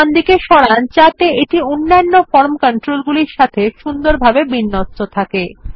একটু ডানদিকে সরান যাতে এটি অন্যান্য ফর্ম কন্ট্রোল গুলির সাথে সুন্দরভাবে বিন্যস্ত থাকে